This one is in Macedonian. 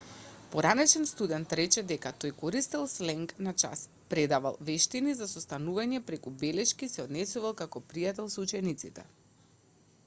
поранешен студент рече дека тој користел сленг на час предавал вештини за состанување преку белешки и се однесувал како пријател со учениците